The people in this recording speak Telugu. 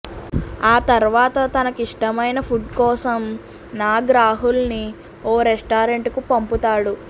ఆ తర్వాత తన కిష్టమైన పుడ్ కోసం నాగ్ రాహుల్ ని ఓ రెస్టారెంట్ కు పంపుతాడు